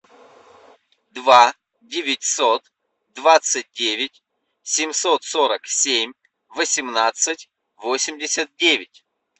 два девятьсот двадцать девять семьсот сорок семь восемнадцать восемьдесят девять